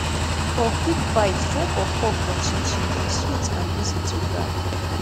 for quick bite try puff puff or chin chin dem sweet and easy to grab